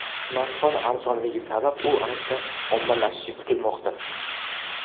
Smartfon arzonligi sabab u ancha ommalashishi kutilmoqda.